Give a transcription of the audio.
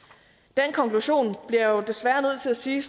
den konklusion bliver jeg jo desværre nødt til at sige